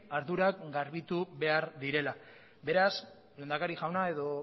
ardurak garbitu behar direla beraz lehendakari jauna edo